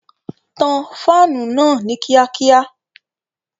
Tan fáànù náà ní kíákíá!